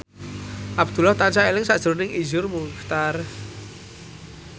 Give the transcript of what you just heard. Abdullah tansah eling sakjroning Iszur Muchtar